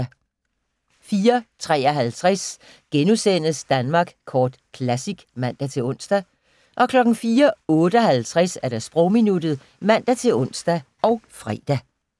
04:53: Danmark Kort Classic *(man-ons) 04:58: Sprogminuttet (man-ons og fre)